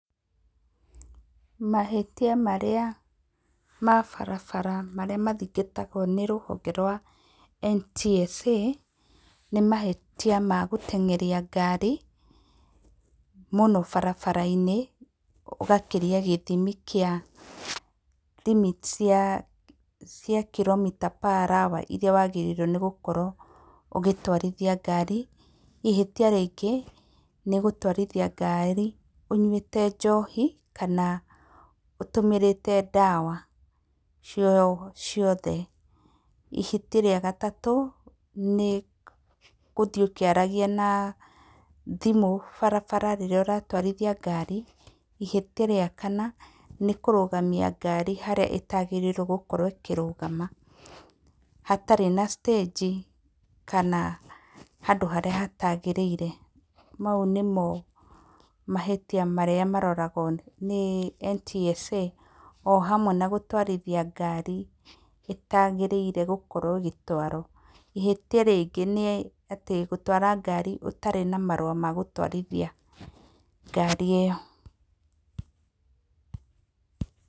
Mahĩtia marĩa ma barabara marĩa mathingatagwo nĩ rũhonge rwa NTSA, nĩ mahĩtia ma gũteng'eria ngari, mũno barabara-inĩ ũgakĩria gĩthimi kĩa limits cia kilometre per hour iria wagĩrĩire nĩgũkorwo ũgĩtwarithia ngari. Ihĩtia rĩngĩ nĩ gũtwarithia ngari ũnyuĩte njohi kana ũtũmĩrĩte ndawa ciothe. Ihĩtia rĩa gatatũ, nĩ gũthiĩ ũkĩaragia na thimũ barabara rĩrĩa ũratwarithia ngari. Ihĩtia rĩa kana, nĩ kũrũgamia ngari harĩa ĩtagĩrĩire gukorwo ĩkĩrũgama hatarĩ na citĩnji kana handũ harĩa hatagĩrĩire. Mau nĩmo mahĩtia marĩa maroragwo nĩ NTSA, o hamwe na gũtwarithia ngari ĩtagĩrĩire gũkorwo ĩgĩtwarwo. Ihĩtia rĩngĩ nĩ atĩ, gũtwara ngari ũtarĩ na marũa ma gũtwarithia ngari ĩyo.